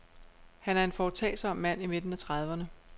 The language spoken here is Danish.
Han er en foretagsom mand i midten af trediverne.